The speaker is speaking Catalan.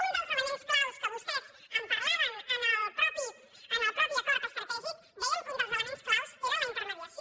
un dels ele·ments clau que vostès en parlaven en el mateix acord estratègic deien que un dels elements clau era la in·termediació